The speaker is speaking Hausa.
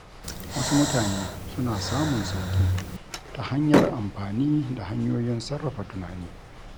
Wasu mutane suna samun sauƙi ta hanyar amfani da hanyoyin sarrafa tunani.